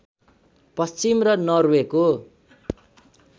पश्चिम र नर्वेको